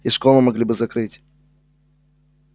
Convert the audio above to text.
и школу могли бы закрыть